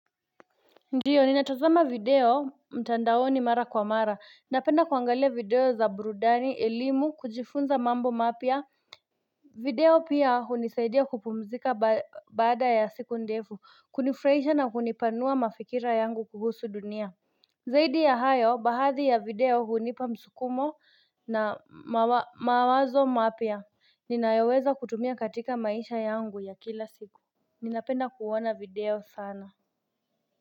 Ndiyo ni natazama video mtandaoni mara kwa mara, napenda kuangalia video za burudani, elimu, kujifunza mambo mapya, video pia hunisaidia kupumzika baada ya siku ndefu, kunifurahisha na kunipanua mafikira yangu kuhusu dunia Zaidi ya hayo, baadhi ya video hunipa msukumo na mawazo mapya, ninayoweza kutumia katika maisha yangu ya kila siku Ninapenda kuona video sana.